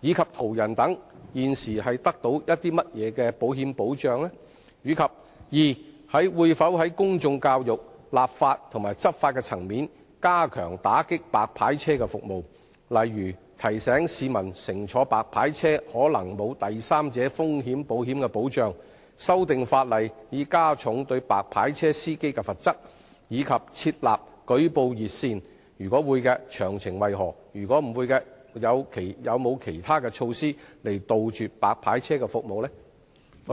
以及途人等現時受到甚麼保險保障；及二會否在公眾教育、立法及執法層面加強打擊白牌車服務，例如提醒市民乘坐白牌車可能沒有第三者風險保險保障、修訂法例以加重對白牌車司機的罰則，以及設立舉報熱線；如會，詳情為何；如否，有何其他措施杜絕白牌車服務？